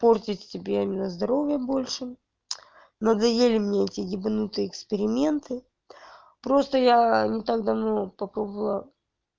портить себе именно здоровье больше надоели мне эти ебанутые эксперименты просто я не так давно попробовала